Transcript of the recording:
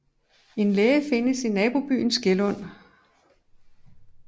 En læge findes i nabobyen Skelund